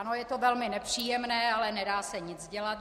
Ano, je to velmi nepříjemné, ale nedá se nic dělat.